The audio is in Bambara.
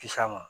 Kisa ma